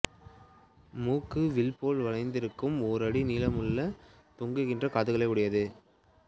மூக்கு வில் போல் வளைந்திருக்கும் ஓர் அடி நீளமுள்ள தொங்குகின்ற காதுகளுடையது